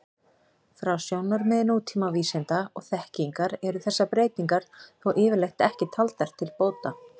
Frá sjónarmiði nútíma vísinda og þekkingar eru þessar breytingar þó yfirleitt ekki taldar til bóta.